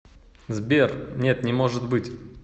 сбер нет не может быть